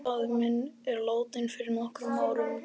Faðir minn er látinn fyrir nokkrum árum.